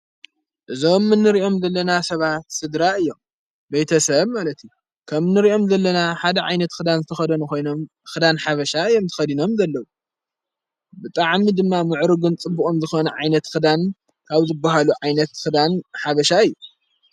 እዞም ምንርእዮም ዘለና ሰባት ሥድራ እዮም በተሰም ኣለቲ ከም ንርእኦም ዘለና ሓደ ዓይነት ኽዳን ዝተኸዶን ኾይኖም ኽዳን ሓበሻ እዮም ቲ ኸዲኖም ዘለ ብጥዓሚ ድማ ምዕሩግን ጽቡቕም ዝኾነ ዓይነት ኽዳን ካብዝብሃሉ ዓይነት ኽዳን ሓበሻ እዩ።